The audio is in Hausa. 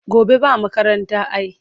Gobe ba makaranta ai.